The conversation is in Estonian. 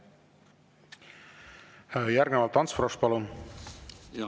Järgnevalt Ants Frosch, palun!